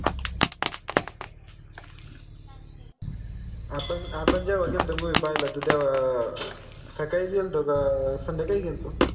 आपन आपन जेव्हा गेल्तो movie पाहायला त तेव्हा अह सकाळी गेल्तो का संध्याकाळी गेल्तो?